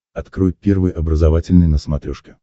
открой первый образовательный на смотрешке